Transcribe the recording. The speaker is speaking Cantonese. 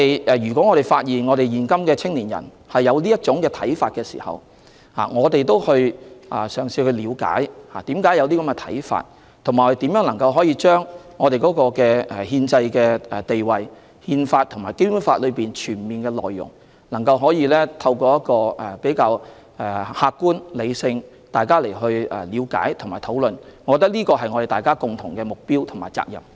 如果我們發現現今的青年人有這種看法，我們會嘗試了解為何會有這種看法，以及如何可以將憲制地位、《憲法》和《基本法》的全面內容，透過比較客觀和理性的方式，作互相了解和討論，我覺得這是我們的共同目標和責任。